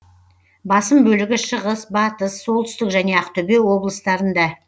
басым бөлігі шығыс батыс солтүстік және ақтөбе облыстарында